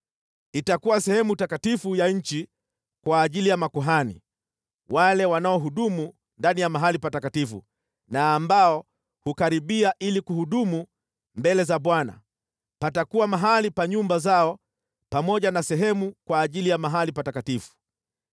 Itakuwa sehemu takatifu ya nchi kwa ajili ya makuhani, wale wanaohudumu ndani ya mahali patakatifu na ambao hukaribia ili kuhudumu mbele za Bwana . Patakuwa mahali pa nyumba zao pamoja na sehemu kwa ajili ya mahali patakatifu.